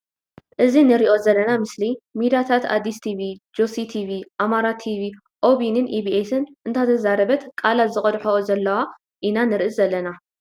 እዚ ንሪኦ ዘለና ምስሊ ሚድያታት ኣዲስ ቲቪ ጆሲ ቲቪ ኣማራ ቲቪ ኦቢንን አቢኤስን እናተዛረበት ቃላ ዝቀድሕኦ ዘለዋ ኢና ንርኢ ዘለና።